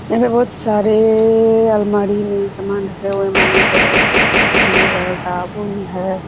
यहाँ पे बहुत सारे अअअ अलमारी में समान रखे हुए मानो चलो अगरबाती है साबुन है।